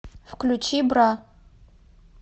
включи бра